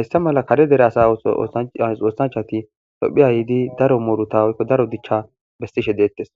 Hayssa mala kare dere oossanchchati itophphiya yiiddi daro dichcja beessishe deettes.